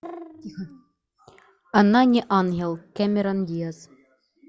она не ангел кэмерон диаз